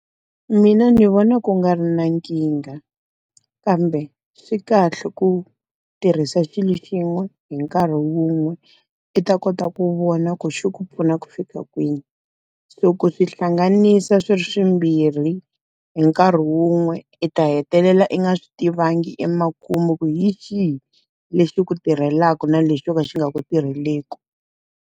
Mina ndzi vona ku nga ri na nkingha. Kambe swi kahle ku tirhisa swilo swin'we hi nkarhi wun'we, i ta kota ku vona ku xi ku pfuna ku fika kwini. Loko u swi hlanganisa swi ri swimbirhi hi nkarhi wun'we, i ta hetelela i nga swi tivangi emakumu ku hi xihi lexi ku tirhelaka na lexi xo ka xi nga ku tirheleku.